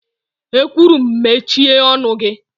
E kwuru'm mechie ọnụ gị.!